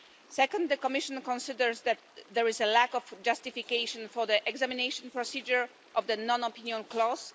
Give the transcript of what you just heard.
Second, the Commission considers that there is a lack of justification for the examination procedure of the non-opinion clause.